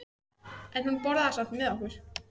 En hún borðaði samt með okkur.